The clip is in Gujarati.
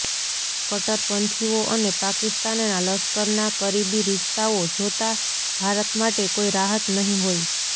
કટ્ટરપંથીઓ અને પાકિસ્તાનના લશ્કરના કરીબી રિશ્તાઓ જોતાં ભારત માટે કોઈ રાહત નહીં હોય